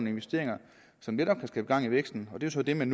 investeringer som netop skabe gang i væksten det er så det man